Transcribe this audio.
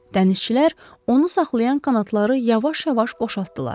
Dənizçilər onu saxlayan kanatları yavaş-yavaş boşaltdılar.